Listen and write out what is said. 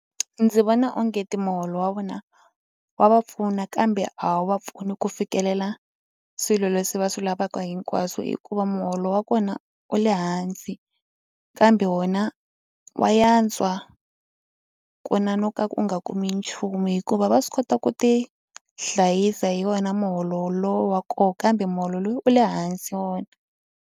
Ndzi vona onge ti muholo wa vona wa va pfuna kambe a wu va pfuni ku fikelela swilo leswi va swi lavaka hinkwaswo hikuva muholo wa kona wu le hansi kambe wa wona wa yantswa ku na no ka u nga kumi nchumu hikuva va swi kota ku tihlayisa hi wona muholo lowu wa koho kambe muholo loyi u le hansi wona.